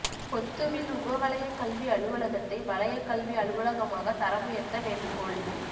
பொத்துவில் உப வலயக் கல்வி அலுவலகத்தை வலயக் கல்வி அலுவலகமாகத் தரம் உயர்த்த வேண்டுகோள்